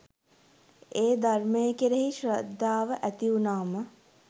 ඒ ධර්මය කෙරෙහි ශ්‍රද්ධාව ඇතිවුණාම